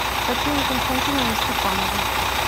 татьяне константиновне степановой